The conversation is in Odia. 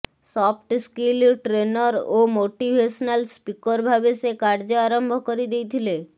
ସଫ୍ଟ ସ୍କିଲ ଟ୍ରେନର ଓ ମୋଟିଭେସନାଲ ସ୍ଫିକର ଭାବେ ସେ କାର୍ଯ୍ୟ ଆରମ୍ଭ କରିଦେଇଥିଲେ